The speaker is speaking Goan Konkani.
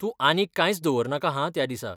तूं आनीक कांयच दवरनाका हां त्या दिसा.